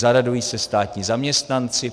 Zaradují se státní zaměstnanci.